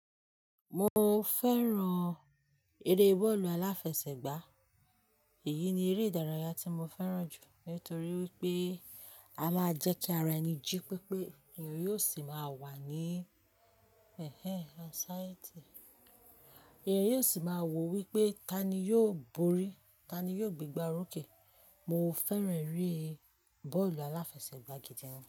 Mo fẹ́ràn eré bọ́ọ̀lù aláfẹsẹ̀gbá. Èyí ni eré ìdárayá tí mo fẹ́ràn jù nítorí wípé a máa jẹ́ kí ara ẹni jí pépé, èèyàn yóò sì máa wà ní ẹh ẹh anxiety, èèyàn yóò sì máa wò wípé tani yóò borí, tani yóò gbé gbá orókè. Mo fẹ́ràn eré bọ́ọ̀lù aláfẹsẹ̀gbá gidi gan.